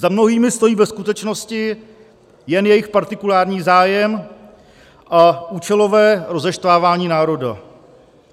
Za mnohými stojí ve skutečnosti jen jejich partikulární zájem a účelové rozeštvávání národa.